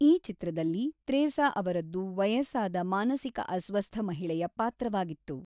ಈ ಚಿತ್ರದಲ್ಲಿ ತ್ರೇಸಾ ಅವರದ್ದು ವಯಸ್ಸಾದ ಮಾನಸಿಕ ಅಸ್ವಸ್ಥ ಮಹಿಳೆಯ ಪಾತ್ರವಾಗಿತ್ತು.